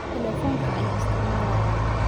Taleefanka ayaan isticmaalayay